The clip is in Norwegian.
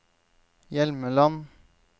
Hjelmeland